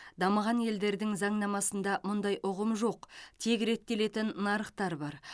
дамыған елдердің заңнамасында мұндай ұғым жоқ тек реттелетін нарықтар бар